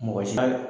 Mɔgɔ si ka